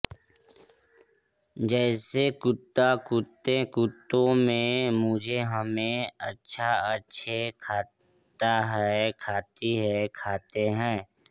जैसेकुत्ता कुत्ते कुत्तों मैं मुझेहमें अच्छा अच्छे खाता है खाती है खाते हैं